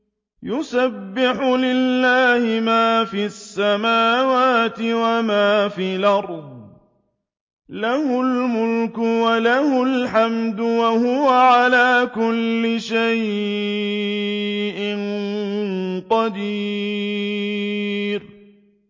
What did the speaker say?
يُسَبِّحُ لِلَّهِ مَا فِي السَّمَاوَاتِ وَمَا فِي الْأَرْضِ ۖ لَهُ الْمُلْكُ وَلَهُ الْحَمْدُ ۖ وَهُوَ عَلَىٰ كُلِّ شَيْءٍ قَدِيرٌ